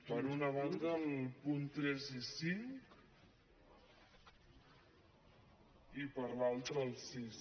per una banda els punts tres i cinc i per l’altra el sis